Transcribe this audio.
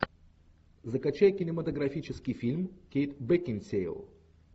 закачай кинематографический фильм кейт бекинсейл